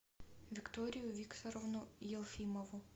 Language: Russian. викторию викторовну елфимову